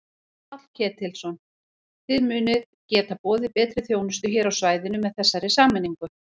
Páll Ketilsson: Þið munið geta boðið betri þjónustu hér á svæðinu með þessari sameiningu?